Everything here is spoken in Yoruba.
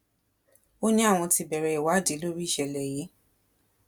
ó ní àwọn ti bẹrẹ ìwádìí lórí ìṣẹlẹ yìí